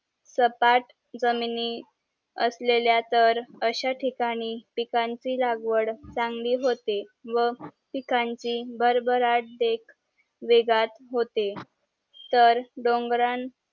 सपाट जमिनी असलेल्या तर आशा ठिकाणी पिकांची लागवड होते व पिकांची भरभराट देख वेगात होते तर डोंगरांन